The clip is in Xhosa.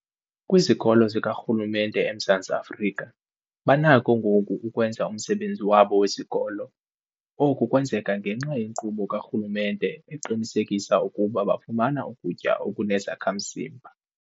Kwizikolo zikarhulumente eMzantsi Afrika banakho ngoku ukwenza umsebenzi wabo wesikolo. Oku kwenzeka ngenxa yenkqubo karhulumente eqinisekisa ukuba bafumana ukutya okunezakha-mzimba.